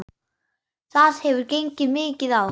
Það hefur gengið mikið á!